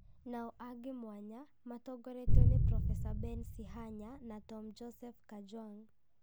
nao angĩ mwanya, matongoretio nĩ Prof. Ben Sihanya na Tom Joseph Kajwang,